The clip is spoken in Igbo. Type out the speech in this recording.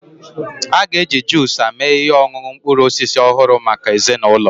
Ọ ga-eji juusa mee ihe ọṅụṅụ mkpụrụ osisi ọhụrụ maka ezinụlọ